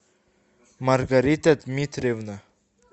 маргарита дмитриевна